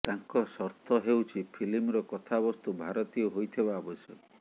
ତାଙ୍କ ସର୍ତ୍ତ ହେଉଛି ଫିଲ୍ମର କଥାବସ୍ତୁ ଭାରତୀୟ ହୋଇଥିବା ଆବଶ୍ୟକ